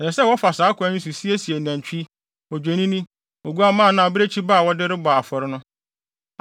Ɛsɛ sɛ wɔfa saa kwan yi so siesie nantwi, odwennini, oguamma anaa abirekyi ba a wɔde bɔ afɔre no.